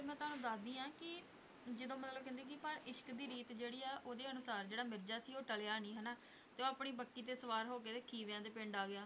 ਮੈਂ ਤੁਹਾਨੂੰ ਦੱਸਦੀ ਹਾਂ ਕਿ ਜਦੋਂ ਮਤਲਬ ਕਹਿੰਦੇ ਕਿ ਪਰ ਇਸ਼ਕ ਦੀ ਰੀਤ ਜਿਹੜੀ ਆ ਉਹਦੇ ਅਨੁਸਾਰ ਜਿਹੜਾ ਮਿਰਜ਼ਾ ਸੀ ਉਹ ਟਲਿਆ ਨੀ ਹਨਾ ਤੇ ਉਹ ਆਪਣੀ ਬੱਕੀ ਤੇ ਸਵਾਰ ਹੋ ਕੇ ਤੇ ਖੀਵਿਆਂ ਦੇ ਪਿੰਡ ਆ ਗਿਆ,